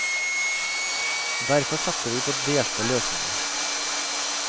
Derfor satser vi på delte løsninger.